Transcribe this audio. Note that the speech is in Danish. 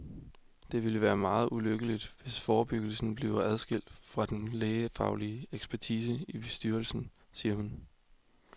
Det ville være meget ulykkeligt, hvis forebyggelsen bliver adskildt fra den lægefaglige ekspertise i styrelsen, siger hun.